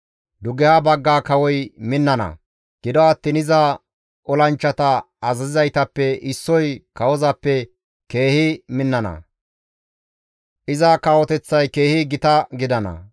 «Dugeha bagga kawoy minnana; gido attiin iza olanchchata azazizaytappe issoy kawozappe keehi minnana; iza kawoteththay keehi gita gidana.